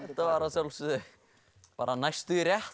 þetta var að sjálfsögðu næstum því rétt